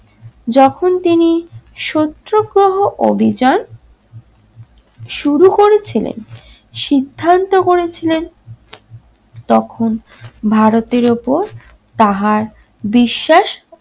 যখন তিনি সত্যগ্রহ অভিযান শুরু করেছিলেন সিদ্ধান্ত করেছিলেন তখন ভারতের ওপর তাহার বিশ্বাস